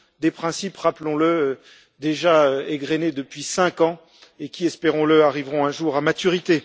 Des principes, rappelons le, déjà égrenés depuis cinq ans et qui, espérons le, arriveront un jour à maturité.